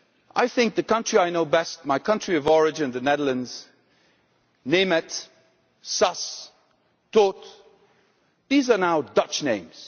I think of the country I know best, my country of origin the Netherlands Németh, Szass, Tóth, these are now Dutch names.